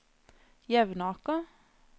Jevnaker